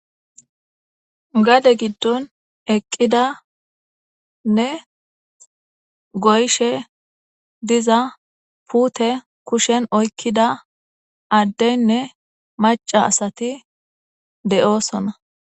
Gade giddon eqqidanne goyshe diza pute kushen oykkida addeynne maca asati de'oosona.